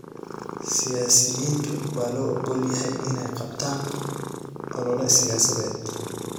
Siyaasiyiinta waa loo ogol yahay inay qabtaan olole siyaasadeed.